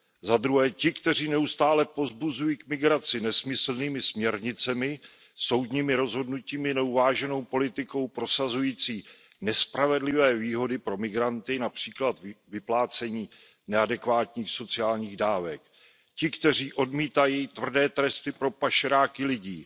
Za druhé ti, kteří neustále povzbuzují k migraci nesmyslnými směrnicemi, soudními rozhodnutími, neuváženou politikou prosazující nespravedlivé výhody pro migranty, například vyplácení neadekvátních sociálních dávek. Ti, kteří odmítají tvrdé tresty pro pašeráky lidí,